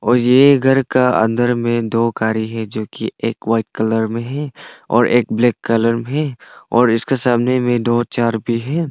ये घर का अंदर मे दो गाड़ी है जो की एक वाइट कलर मे है और एक ब्लैक कलर मे है और इसका सामने मे दो चार भी है।